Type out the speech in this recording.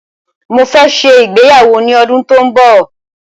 Mó fẹ́ ṣe ìgbéyàwó ní ọdún tó n bọ̀.